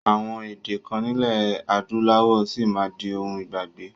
Àwọn èdè kan nilẹ adúláwọ̀ sì máa di òun ìgbàgbé